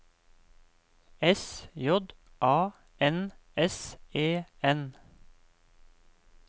S J A N S E N